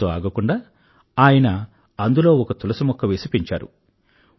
అక్కడితో ఆగకుండా ఆయన అందులో ఒక తులసిమొక్క వేసి పెంచారు